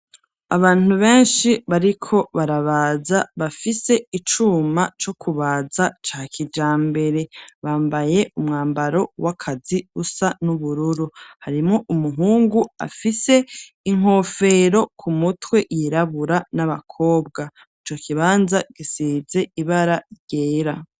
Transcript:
Abantu benshi bariko barabaza, bafise icuma co kubaza ca kijambere, bambaye umwambaro w'akazi usa n'ubururu, harimwo umuhungu afise inkofero ku mutwe yirabura n'abakobwa, ico kibanza gisize ibara yera.